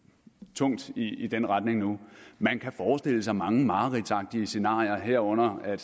tungt i den retning nu man kan forestille sig mange mareridtsagtig scenarier herunder at